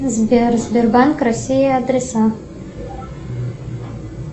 сбер сбербанк россия адреса